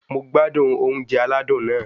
Mo gbádùn oúnjẹ aládùn náà